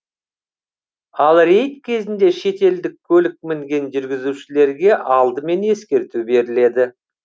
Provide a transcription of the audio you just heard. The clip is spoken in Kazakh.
ал рейд кезінде шетелдік көлік мінген жүргізушілерге алдымен ескерту беріледі